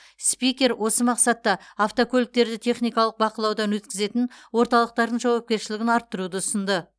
спикер осы мақсатта автокөліктерді техникалық бақылаудан өткізетін орталықтардың жауапкершілігін арттыруды ұсынды